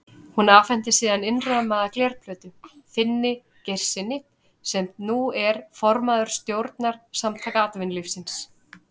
Hún afhenti síðan innrammaða glerplötuna Finni Geirssyni, sem nú er formaður stjórnar Samtaka atvinnulífsins.